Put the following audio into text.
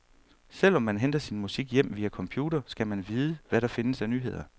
Selv om man henter sin musik hjem via computer, skal man vide, hvad der findes af nyheder.